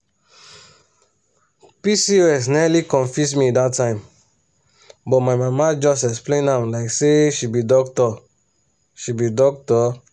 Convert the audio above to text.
pcos nearly confuse me that time but my mama just explain am like say she be doctor. she be doctor.